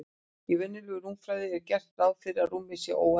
Í venjulegri rúmfræði er gert ráð fyrir því að rúmið sé óendanlegt.